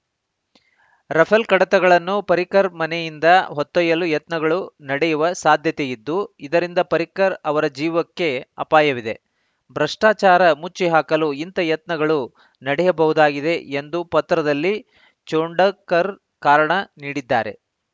Rafale ಕಡತಗಳನ್ನು ಪರ್ರಿಕರ್‌ ಮನೆಯಿಂದ ಹೊತ್ತೊಯ್ಯಲು ಯತ್ನಗಳು ನಡೆಯುವ ಸಾಧ್ಯತೆ ಇದ್ದು ಇದರಿಂದ ಪರ್ರಿಕರ್‌ ಅವರ ಜೀವಕ್ಕೆ ಅಪಾಯವಿದೆ ಭ್ರಷ್ಟಾಚಾರ ಮುಚ್ಚಿಹಾಕಲು ಇಂಥ ಯತ್ನಗಳು ನಡೆಯಬಹುದಾಗಿದೆ ಎಂದು ಪತ್ರದಲ್ಲಿ ಛೋಡಂಕರ್‌ ಕಾರಣ ನೀಡಿದ್ದಾರೆ